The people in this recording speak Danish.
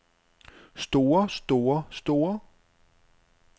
store store store